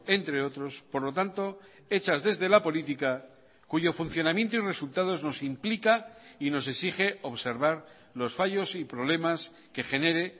entre otros por lo tanto hechas desde la política cuyo funcionamiento y resultados nos implica y nos exige observar los fallos y problemas que genere